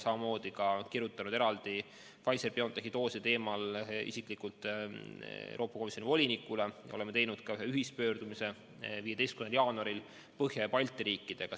Samuti oleme kirjutanud eraldi Pfizer/BioNTechi dooside teemal isiklikult Euroopa Komisjoni volinikule, oleme teinud ka ühe ühispöördumise 15. jaanuaril Põhjamaade ja Balti riikidega.